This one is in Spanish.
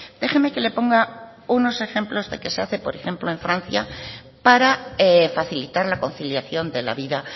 déjeme que le ponga unos ejemplos de que se hace por ejemplo en francia para facilitar la conciliación de la vida